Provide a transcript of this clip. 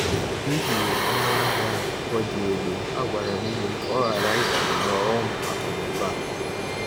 N’ihi ọnụ ahịa ụgwọ dị elu, m gwara enyi m ka ọ ghara ịbanye n’ọghọm akụ na ụba a.